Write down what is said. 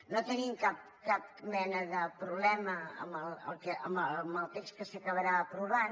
no tenim cap mena de problema amb el text que s’acabarà aprovant